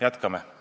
Jätkame!